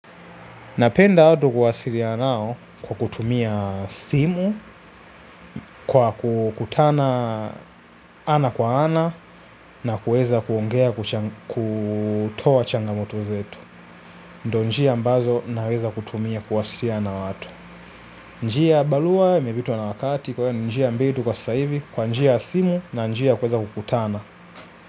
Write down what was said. Napenda watu kuwasiliana nao kwa kutumia simu, kwa kukutana ana kwa ana na kuweza kuongea kutoa changamoto zetu. Ndiyo njia ambazo naweza kutumia kuwasiliana na watu. Njia ya barua imepitwa na wakati kwa hiyo ni njia mbili tu kwa sasa hivi kwa njia ya simu na njia ya kuweza kukutana.